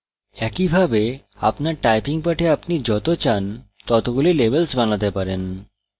একইভাবে আপনার typing পাঠে আপনি যত চান ততগুলি levels বানাতে পারেন